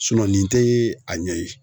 nin te a ɲɛ ye